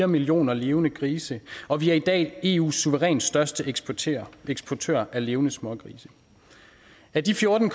millioner levende grise og vi er i dag eus suverænt største eksportør eksportør af levende smågrise af de fjorten